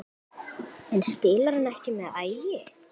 En spilar hann ekki með Ægi?